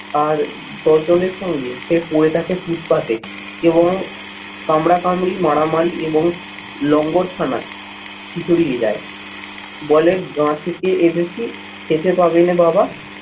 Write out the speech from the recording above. আর দশ জনের সঙ্গে সে পরে থাকে ফুটপাতে এবং কামরাকামড়ি, মারামারি এবং লঙ্গরখানায় খিচুড়ি নিয়ে যায়। বলে গা থেকে এসেছি খেতে পাবেনে বাবা